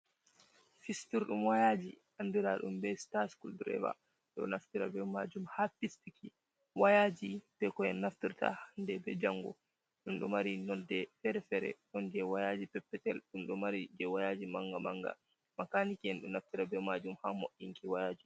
Fistira ɗum wayaji andira ɗum be star skul dreve, ɗo naftira be majum ha fistuki wayaji be koen naftirta hande be jango, ɗum ɗo mari nolde fere-fere ɗon je wayaji, peppetel, ɗum ɗo mari je wayaji manga manga, makaniken ɗo naftira be majum ha moinki wayaji.